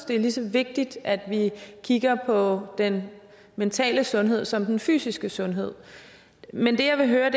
det er lige så vigtigt at vi kigger på den mentale sundhed som den fysiske sundhed men det jeg vil høre